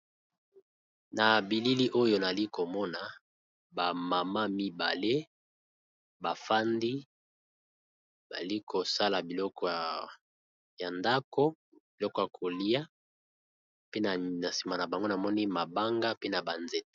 Na bilili oyo nali komona ba mama mibale bafandi bali kosala biloko ya ndako biloko ya kolia pe na a nsima na bango namoni mabanga pe na banzeta.